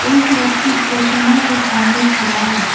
एक व्यक्ति प्रतिमा के सामने खरा है।